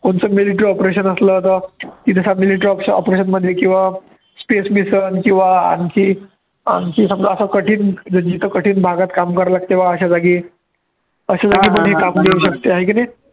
opeartion असलं तर operation मधी किंवा आणखी आणखी समजा असं कठीण जिथं कठीण भागात काम करायला लागतं बा अश्या जागी, अश्या जागी पण काम करू शकते आहे की नाही